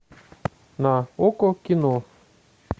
на окко кино